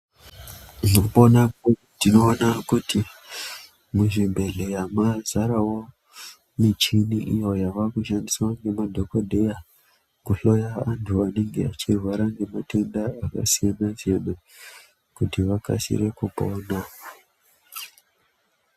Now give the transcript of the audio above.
Mukupona tinoona kuti muzvibhedhleya mwazarawo michini iyo yavakushandiswa ngemadhokodheya kuhloya antu anenge achirwara ngematenda akasiyana siyana kuti vakasire kupona.